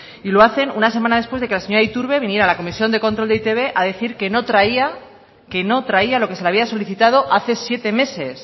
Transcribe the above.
y lo hacen una semana después de que la señora iturbe viniera a la comisión de control de e i te be a decir que no traía que no traía lo que se le había solicitado hace siete meses